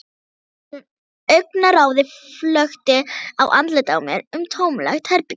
Augnaráðið flökti af andlitinu á mér um tómlegt herbergið.